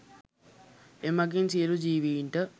එමගින් සියලු ජීවීන්ට